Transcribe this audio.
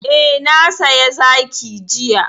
Eh, na saya zaki jiya.